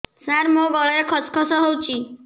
ସାର ମୋ ଗଳାରେ ଖସ ଖସ ହଉଚି